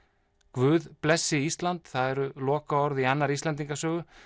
guð blessi Ísland það voru lokaorð í annarri Íslendingasögu